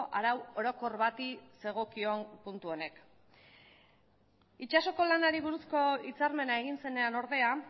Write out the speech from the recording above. arau orokor bati zegokion puntu honek itsasoko lanari buruzko hitzarmena egin zenean ordea